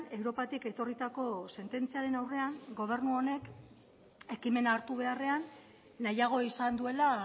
europatik etorritako sententziaren aurrean gobernu honek ekimena hartu beharrean nahiago izan duela